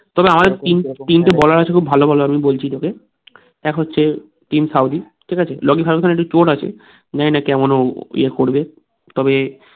খুব ভালো ভালো আমি বলছি তোকে এক হচ্ছে টিম সাউথি ঠিক আছে লোকী ফারগুসন আছে জানি না কেমন ও ইয়া করবে তবে